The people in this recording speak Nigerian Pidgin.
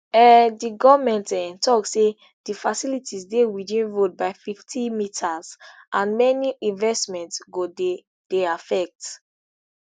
um di goment um tok say di facilities dey witin road by fifty metres and many investment go dey dey affect